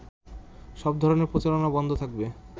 সব ধরনের প্রচারণা বন্ধ থাকবে